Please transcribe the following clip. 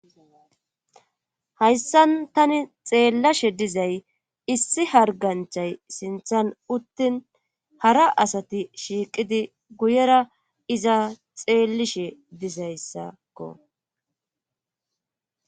hayssan tani xeellashe dizay issi harganchay sinthan uttin hara asati shiiqidi guyera iza xeellishe dizayssakko